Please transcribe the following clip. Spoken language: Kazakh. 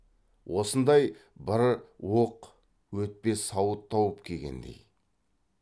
осындай бір оқ өтпес сауыт тауып кигендей